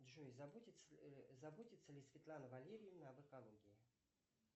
джой заботится ли светлана валерьевна об экологии